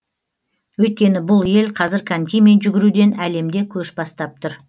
өйткені бұл ел қазір конькимен жүгіруден әлемде көш бастап тұр